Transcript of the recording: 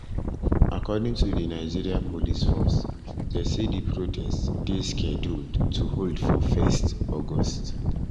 according to di nigeria police force dem say di protest dey scheduled to hold for 1 august.